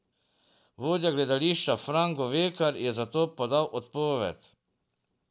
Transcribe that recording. Vodja gledališča Fran Govekar je zato podal odpoved.